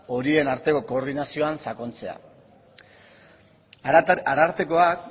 horien arteko koordinazioan sakontzea arartekoa